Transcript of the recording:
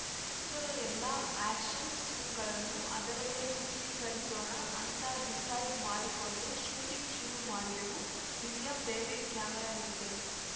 ಚಿತ್ರದ ಎಲ್ಲಾ ಆ್ಯಕ್ಷನ್‌ ಸೀನ್‌ಗಳನ್ನು ಅದರಲ್ಲೇ ಚಿತ್ರೀಕರಿಸೋಣ ಅಂತ ಡಿಸೈಡ್‌ ಮಾಡಿಕೊಂಡು ಶೂಟಿಂಗ್‌ ಶುರು ಮಾಡಿದೆವು ವಿಲಿಯಂ ಡೇವಿಡ್‌ ಕ್ಯಾಮರಾ ಹಿಡಿದರು